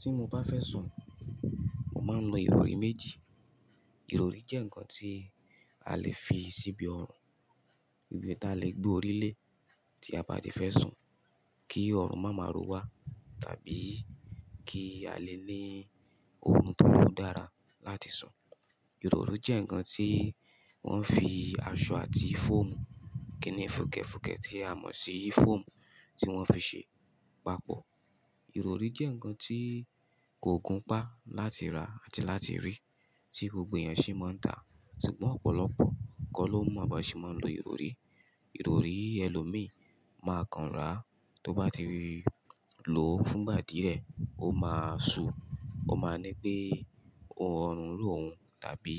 Tí mo bá fẹ́ sùn, mo máa ń lo ìrọrí méjì. Ìrọrí jẹ́ ǹkan tí a lè fi síbi ọrùn, ibi tí a lè gbé orí lé tí a bá ti fẹ́ sùn kí ọrùn máa ma ró wa tàbí kí a lè ní orùn tó dára láti sùn. Ìrọrí jẹ́ ǹkan tí wọ́n fi aṣọ àti fọ́ọ̀mù, kíni fukefukẹ̀ tí a mọ̀ sí fọ́ọ̀mù tí wọ́n fi ṣe papọ̀. Ìrọrí jẹ́ ǹkan tí kò gùn pá láti rà àti láti rí tí gbogbo èyàn sì máa ń tà, ṣùgbọ́n ọ̀pọ̀lọpọ̀ ko ló mo ba sì máa ń lo ìrọrí. Ìrọrí ẹlòmíì máa kan rà á. Tó bá ti lò ó fún ìgbà díẹ̀, ó máa ṣú, ó máa ńí pé ọrùn ró òun tàbí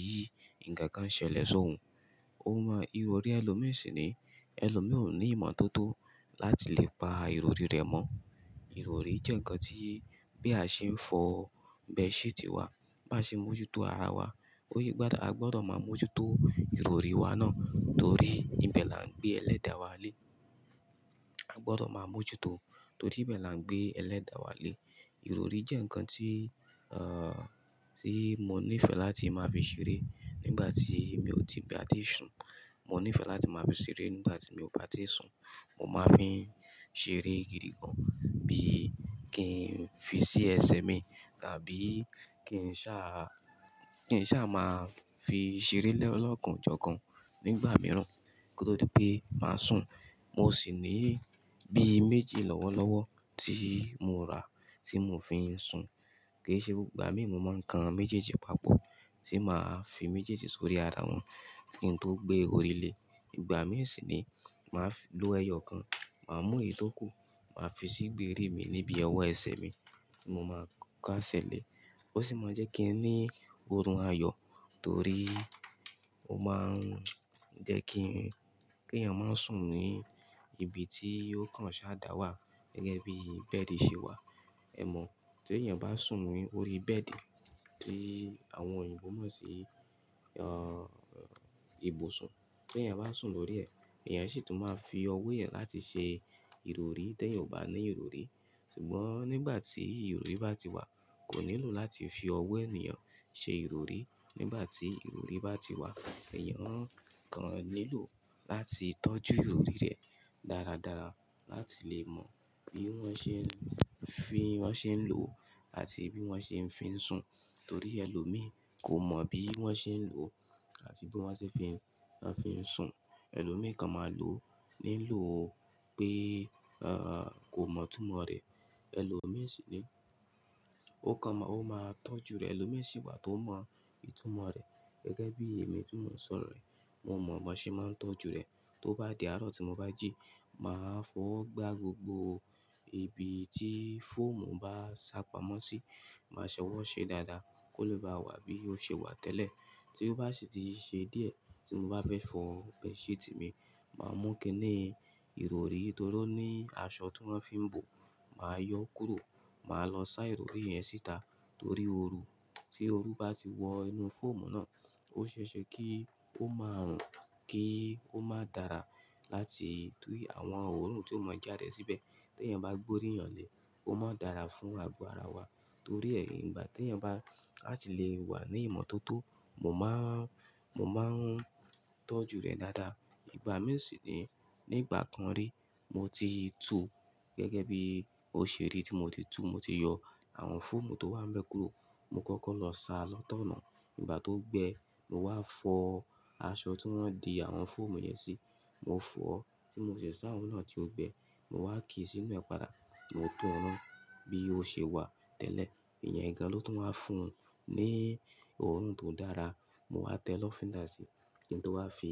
ǹkan kan ṣẹlẹ̀ sóhun. Ó máa-- ìrọrí ẹlòmíì sì ni ẹlòmíì ò ní ìmọ̀ tó tó láti lè pa ìrọrí rẹ̀ mọ̀. Ìrọrí jẹ́ ǹkan tí bí a ṣe ń fọ̀ bedsheet wa, bá ṣe ń mójútó ara wa, ó yẹ gba, a gbọ́dọ̀ máa mójútó ìrọrí wa náà torí níbẹ̀ la ń gbé Ẹlẹ́dà wa lé. A gbọ́dọ̀ máa mójútó torí níbẹ̀ la ń gbé Ẹlẹ́dà wa lé. Ìrọrí jẹ́ ǹkan tí, à, tí mo nífẹ̀ẹ́ láti máa fi ṣeré nígbà tí mi ò ti ba ti sùn. Mo nífẹ̀ẹ́ láti máa fi ṣeré nígbà tí mi ò bá ti sùn. Mo máa fi ṣeré gidi gan bí kí n fi sí ẹsẹ̀ mi tàbí kí n sá, kí n sá máa fi ṣeré lé ọlọ́kan jọkan nígbà mìíràn kó tó di pé màá sùn. Mo sì ní bí méjì lọ́wọ́lọ́wọ́ tí mo rà á tí mo fi ń sùn. Kì íṣe gbogbo ìgbà mí, mo máa ń kan méjèèjì papọ̀ tí màá fi méjèèjì sórí ara wọn kí n tó gbé orí lé. Ìgbà mì sì ni màá fi-- ló ẹyọ kan, màá mú ìyí tó kù, màá fi sí gbéri mi níbi ọwọ́ ẹsẹ̀ mi tí mo máa kaṣẹlẹ̀. Ó sì máa jẹ́ kí ẹ ní ọrùn ayọ̀ torí ó máa ń jẹ́ kí, kí èèyàn má sùn ní ibi tí ó kàn ṣáàdà wà gẹ́gẹ́ bí bẹ́ẹ̀dì ṣe wà. Ẹ mọ̀, tí èèyàn bá sùn ní orí bẹ́ẹ̀dì tí àwọn òyìnbó mọ̀ sí, ẹ́, ìbùsùn, tí èèyàn bá sùn lórí ẹ̀, èèyàn sì tún máa fi ọwọ́ rẹ̀ láti ṣe ìrọrí tí èèyàn ò bá ní ìrọrí. Ṣùgbọ́n nígbà tí ìrọrí bá ti wà, kò nílò láti fi ọwọ́ ènìyàn ṣe ìrọrí. Nígbà tí ìrọrí bá ti wà, èèyàn kàn nílò láti tọ́jú ìrọrí rẹ̀ dáradára láti lè mọ bí wọ́n ṣe ń fi, wọ́n ṣe ń lòó àti bí wọ́n ṣe ń fi sùn. Torí ẹlòmíì kò mọ̀ bí wọ́n ṣe ń lò ó àti bí wọ́n ṣe ń fi, wọ́n fi ń sùn. Ẹlòmíì kan máa lò ó nílò pé, ẹ́, kò mọ̀ ìtumọ̀ rẹ̀. Ẹlòmíì sì ni ó kan máa, ó máa tọ́jú rẹ̀. Ẹlòmíì sì wà tó mọ ìtumọ̀ rẹ̀ gẹ́gẹ́ bí èmi tó mọ sọ̀rọ̀ yi. Mo mọ̀ bó ṣe máa ń tọ́jú rẹ̀. Tó bá di àárọ̀ tí mo bá jí, màá fọ̀ ọ́ gbá gbogbo ibi tí fọ́ọ̀mù bá sá pamọ́ sí. Màá ṣọ́wọ́ ṣe dáadáa kó lè bá wà bí ó ṣe wà tẹ́lẹ̀. Tí ó bá sì ti ṣe díẹ̀ tí mo bá fẹ́ fọ̀ bedsheet mi, màá mú kíni ìrọrí torí ó ní aṣọ tí wọ́n fi ń bò. Màá yọ kúrò, màá lọ sá ìrọrí yẹn síta torí ooru. Tí ooru bá ti wọ inú fọ́ọ̀mù náà, ó ṣeéṣe kí ó máa ruń, kí ó máa dára láti, torí àwọn òórùn tí ó máa jáde síbẹ̀ tí èèyàn bá gbé orí eyan lé, ómodára fún ago ara wa. Torí ẹ̀, ìgbà tí èèyàn bá, a sì lè wà ní ìmọ̀tótó, mo máa ń, mo máa ń tọ́jú rẹ̀ dáadáa. Ìgbà mì sì ni nígbà kan rí mo ti tú gẹ́gẹ́ bí ó ṣe rí tí mo titú, mo ti yọ àwọn fọ́ọ̀mù tó wà bẹ́ kúro. Mo kọ́kọ́ lọ sa lọ́tọ̀ náà. Nígbà tó gbẹ, mo wá fọ̀ ọ́, aṣọ tí wọ́n ń di àwọn fọ́ọ̀mù yẹn sí, mo fọ̀ ọ́ tí mo sì sá òun náà tí ó gbẹ. Mo wá ki sínú ẹ̀ pada. Mo tún ran bí ó ṣe wà tẹ́lẹ̀. Ìyẹn gan ló tun waa fún ní òórùn tó dára. Mo wá tẹ́ lọ́fíndà sí. Kìn tó wá fi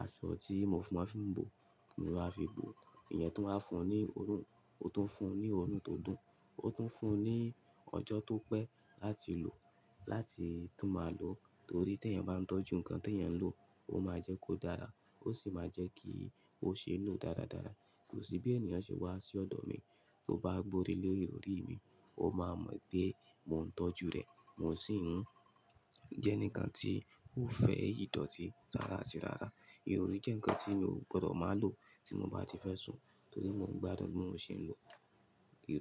aṣọ tí mo máa fi ń bò, mowá fi bò. Ìyẹn tó wá ń fún un ní òórùn, ó tún ń fún ní òórùn tó dùn. Ó tún ń fún un ní ọjọ́ tó pẹ́ láti lò ó láti tún máa lò ó torí tí èèyàn bá ń tọ́jú ǹkan tí èèyàn ń lò ó, ó máa jẹ́ kó dára ó sì máa jẹ́ kí ó ṣe lò dáradára. Kò sí bí èèyàn ṣe wá sí ọ̀dọ̀ mi tó bá gborí lé ìrọrí mi, ó máa mọ̀ pé mò ń tọ́jú rẹ̀, mo sì ń jẹ́ enikan tí kó fẹ́ ìdọ̀tí rara ati rara. Ìrọrí jẹ́ ǹkan tí mo gbọdọ̀ máa lò tí mo bá ti fẹ́ sùn torí mo gbádùn bí mo ṣe ń lò ìrọrí.